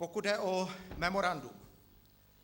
Pokud jde o memorandum.